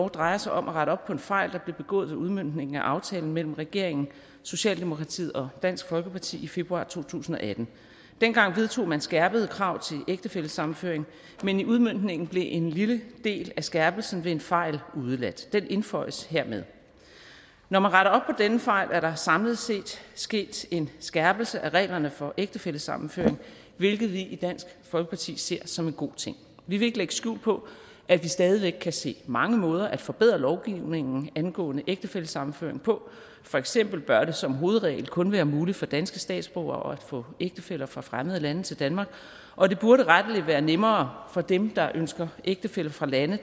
drejer sig om at rette op på en fejl der blev begået i udmøntningen af aftalen mellem regeringen socialdemokratiet og dansk folkeparti i februar to tusind og atten dengang vedtog man skærpede krav til ægtefællesammenføring men i udmøntningen blev en lille del af skærpelsen ved en fejl udeladt den indføjes hermed når man retter op på denne fejl er der samlet set sket en skærpelse af reglerne for ægtefællesammenføring hvilket vi i dansk folkeparti ser som en god ting vi vil ikke lægge skjul på at vi stadig væk kan se mange måder at forbedre lovgivningen angående ægtefællesammenføring på for eksempel bør det som hovedregel kun være muligt for danske statsborgere at få ægtefæller fra fremmede lande til danmark og det burde rettelig være nemmere for dem der ønsker ægtefæller fra lande